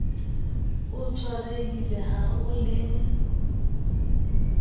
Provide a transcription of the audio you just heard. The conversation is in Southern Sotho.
o tshwarehile ha o le